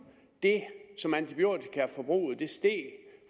det som antibiotikaforbruget steg